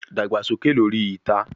Dagba soke lori ita